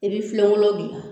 I bi filenkolon gilan